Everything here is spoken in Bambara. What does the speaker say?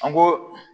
An go